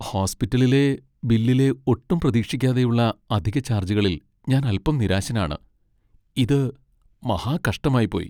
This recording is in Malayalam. ഹോസ്പിറ്റലിലെ ബില്ലിലെ ഒട്ടും പ്രതീക്ഷിക്കാതെയുള്ള അധിക ചാർജുകളിൽ ഞാൻ അൽപ്പം നിരാശനാണ്, ഇത് മഹാ കഷ്ടമായിപ്പോയി.